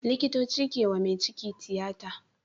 Likitoci kewa me ciki tiyata